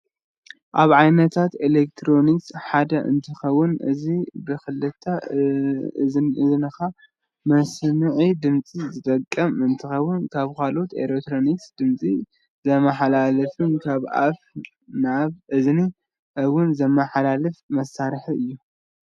ካብ ዓይነታት ኤሌክትሮኒስ ሓደ እንትከውን እዚ ብክልተ እዝንካ መስምዒ ድምፂ ዝጠቅም እንትከውን ካብ ካሎኦት ኤሌክትሮኒስ ድምፂ ዘመሓላልፍን ካብ ኣፍ ናብ እዝኒ እውን ዝመሓላፍ መሳርሒ እዩ።